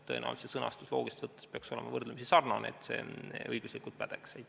Tõenäoliselt peaks see sõnastus loogiliselt võttes olema võrdlemisi sarnane, et see õiguslikult pädeks.